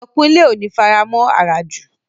Ayọ̀kúnlé ò ní faramọ̀ àràjù